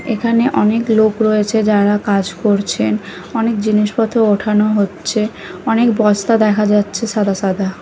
এখানে অনেক লোক রয়েছে যারা কাজ করছেন অনেক জিনিসপত্র ওঠানো হচ্ছে অনেক বস্তা দেখা যাচ্ছে সাদা সাদা।